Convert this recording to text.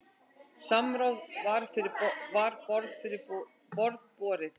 Samráð var fyrir borð borið.